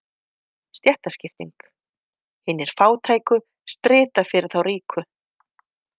Stéttaskipting: Hinir fátæku strita fyrir þá ríku.